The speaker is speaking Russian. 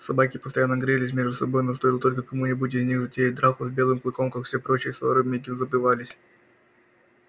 собаки постоянно грызлись между собой но стоило только кому нибудь из них затеять драку с белым клыком как все прочие ссоры мигом забывались